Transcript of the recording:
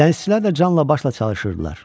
Dənizçilər də canla başla çalışırdılar.